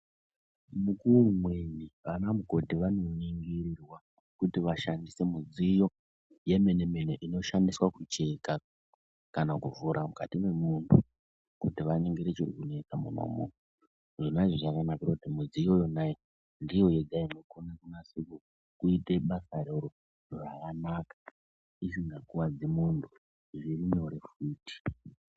Mukuwo umweni ana mukoti vanoningirirwa kuti vashandise mudziyo yemene mene inoshandiswa kucheka kana kuvhura mukati mwemuntu kuti vaningire chiri kunesa mwona umwomwo. Zvona izvi zvakanakira kuti mudziyo yona iyoyo ndiyo yega inokona kunase kuita basa iroro zvakanaka isingakuwadzi muntu, zviri nyore futi.